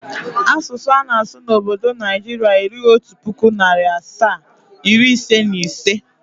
Asụsụ ana-asụ n'obdo Naijiria erughi otu pụkụ, narị asaa, iri ise na ise.